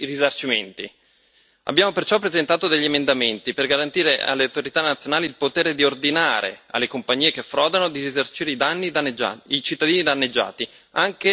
Abbiamo perciò presentato degli emendamenti per garantire alle autorità nazionali il potere di ordinare alle compagnie che frodano di risarcire i cittadini danneggiati anche restituendo i profitti.